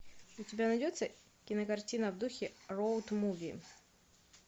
у тебя найдется кинокартина в духе роуд муви